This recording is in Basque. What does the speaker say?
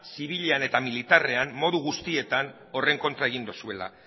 zibilean eta militarrean modu guztietan horren kontra egin duzuela